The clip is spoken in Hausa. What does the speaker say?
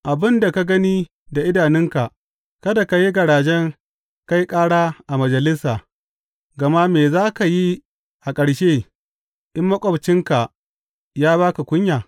Abin da ka gani da idanunka kada ka yi garaje kai ƙara a majalisa, gama me za ka yi a ƙarshe in maƙwabcinka ya ba ka kunya?